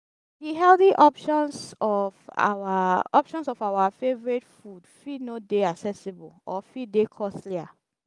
the healthy options of our options of our favourite food fit no dey accessible or fit dey costlier